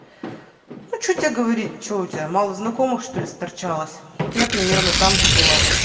а че тебе говорить че у тебя мало знакомых что-ли сторчалось вот я примерно там же была